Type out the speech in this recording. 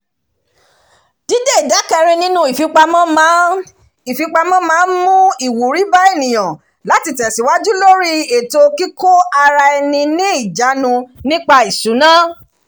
dídé ìdá kẹrin nínú ìfipamọ́ máa ń ìfipamọ́ máa ń mú ìwúrí bá ènìyàn láti tẹ̀síwájú lórí ètò kíkóara-ẹni-ni-ìjánu nípa ìṣúná